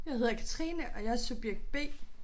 Jeg hedder Katrine og jeg er subjekt B